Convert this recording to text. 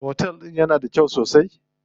Otel din yana da kyau sosai?